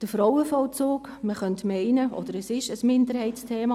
Der Frauenvollzug: Man könnte meinen oder es ist – ein Minderheitsthema.